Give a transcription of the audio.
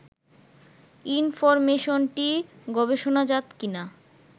ইনফরমেশনটি গবেষণাজাত কি না